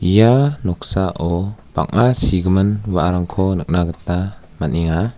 ia noksao bang·a sigimin wa·arangko nikna gita man·enga.